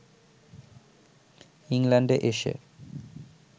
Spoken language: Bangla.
ইংল্যান্ডে এসে